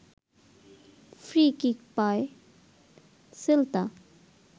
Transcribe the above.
free kick পায় Celta